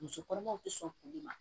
Muso kɔnɔmaw ti sɔn kuli ma